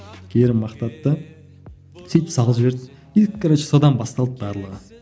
керім мақтады да сөйтіп салып жіберді и короче содан басталды барлығы